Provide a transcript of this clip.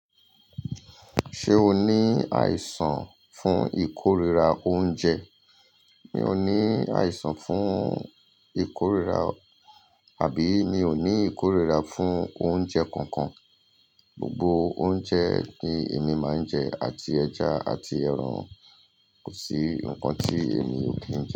Ṣé o ní àìsàn fún ìkórira oúnjẹ? Mi ò ní àìsàn fún ìkórira, àbí mi ò ní ìkórira fún oúnjẹ kankan. Gbogbo oúnjẹ ni èmi máa ń jẹ, àti ẹja àti ẹran, kò sí nǹkan tí èmi ò kíì.